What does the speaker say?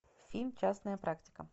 фильм частная практика